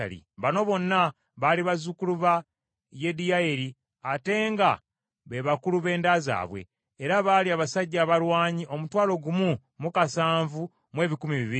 Bano bonna baali bazzukulu ba Yediyayeri ate nga be bakulu b’enda zaabwe. Era baali abasajja abalwanyi omutwalo gumu mu kasanvu mu ebikumi bibiri.